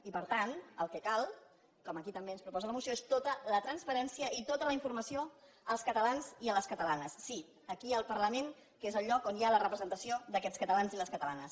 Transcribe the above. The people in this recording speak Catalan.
i per tant el que cal com aquí també ens proposa la moció és tota la transparència i tota la informació als catalans i a les catalanes sí aquí al parlament que és el lloc on hi ha la representació d’aquests catalans i catalanes